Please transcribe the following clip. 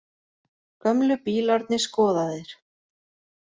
Gömlu bílarnir skoðaðir